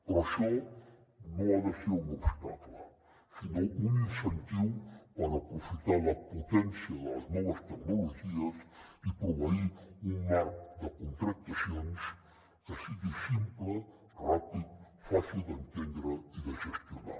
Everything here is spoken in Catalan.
però això no ha de ser un obstacle sinó un incentiu per aprofitar la potència de les noves tecnologies i proveir un marc de contractacions que sigui simple ràpid fàcil d’entendre i de gestionar